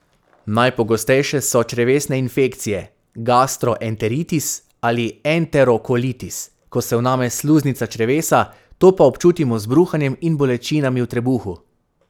Najpogostejše so črevesne infekcije, gastroenteritis ali enterokolitis, ko se vname sluznica črevesa, to pa občutimo z bruhanjem in bolečinami v trebuhu.